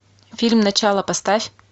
фильм начало поставь